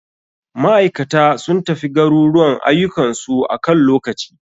Maikata sun tafi garuruwan ayukan su akan lokaci.